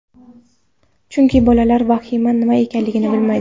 Chunki bolalar vahima nima ekanligini bilmaydi.